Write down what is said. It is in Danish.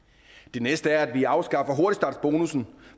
det næste er at vi afskaffer hurtigstartsbonussen